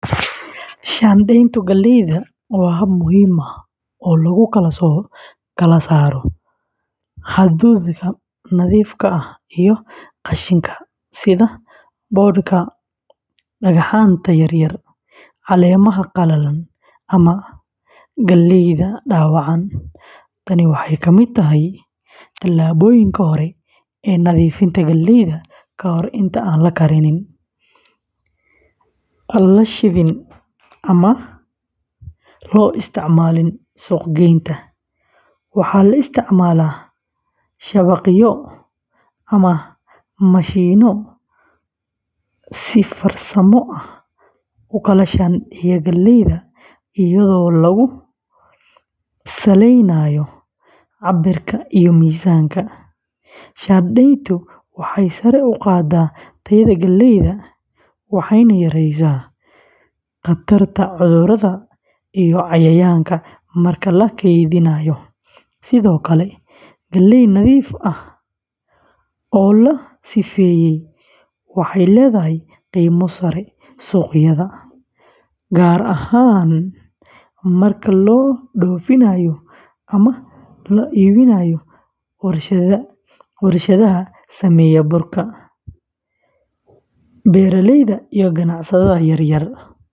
Shaandhaynta galleyda waa hab muhiim ah oo lagu kala saaro hadhuudhka nadiifka ah iyo qashinka sida boodhka, dhagxaanta yaryar, caleemaha qalalan ama galleyda dhaawacan. Tani waxay ka mid tahay tallaabooyinka hore ee nadiifinta galleyda ka hor inta aan la karin, la shiidin ama loo isticmaalin suuq-geynta. Waxaa la isticmaalaa shabaqyo sieves ama mashiinno si farsamo ah u kala shaandheeya galleyda iyadoo lagu saleynayo cabbirka iyo miisaanka. Shaandhayntu waxay sare u qaaddaa tayada galleyda, waxayna yareysaa khatarta cudurrada iyo cayayaanka marka la kaydinayo. Sidoo kale, galley nadiif ah oo la sifeeyey waxay leedahay qiimo sare suuqyada, gaar ahaan marka loo dhoofinayo ama loo iibinayo warshadaha sameeya burka. Beeraleyda iyo ganacsatada yaryar.